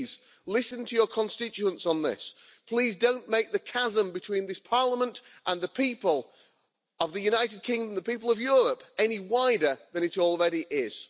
Please listen to your constituents on this. Please don't make the chasm between this Parliament and the people of the United Kingdom, the people of Europe, any wider than it already is.